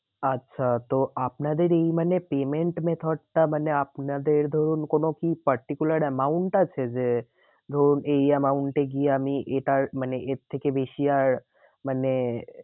আচ্ছা তো আপনাদের এই মানে payment method টা মানে আপনাদের ধরুন কোনো কি particular amount আছে যে ধরুন এই amount এ গিয়ে আমি এটার মানে এর থেকে বেশি আর মানে